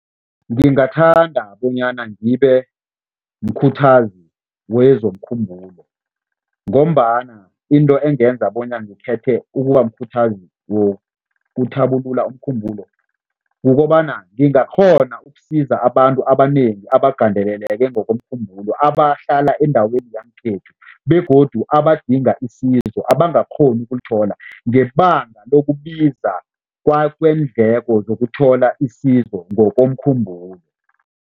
Ngingathanda bonyana ngibe mkhuthazi wezomkhumbulo ngombana into engenza bona ngithethe ukuba mkhuthazi wokuthabulula umkhumbulo kukobana ngingakghona ukusiza abantu abanengi abagandeleleke ngokomkhumbulo, abahlala endaweni yangekhethu begodu abadinga isizo, abangakghoni ukulithola ngebanga lokubiza kweendleko zokuthola isizo ngokomkhumbulo.